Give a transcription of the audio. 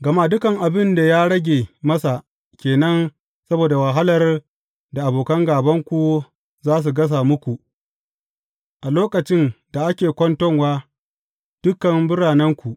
Gama dukan abin da ya rage masa ke nan saboda wahalar da abokan gābanku za su gasa muku a lokacin da ake kwanton wa dukan biranenku.